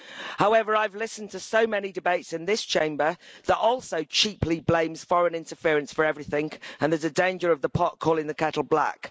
However, I've listened to so many debates in this Chamber that also cheaply blames foreign interference for everything, and there's a danger of the pot calling the kettle black.